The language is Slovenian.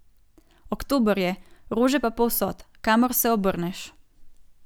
Oktober je, rože pa povsod, kamor se obrneš.